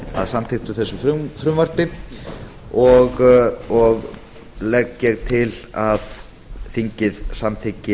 að samþykktu þessu frumvarpi og legg ég til að þingið samþykki